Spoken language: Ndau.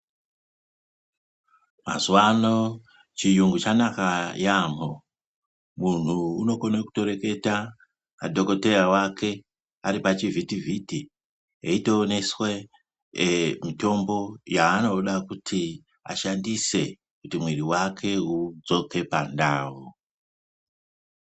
Mazuwano chiyungu chanaka yaamho, munhu unokone kutoreketa nadhoKoteya wake, ari pachivhiti-vhiti eitooneswe mitombo yaanoda kuti ashandise kuti mwiri wake udzoke pandau